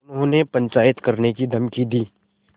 उन्होंने पंचायत करने की धमकी दी